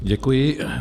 Děkuji.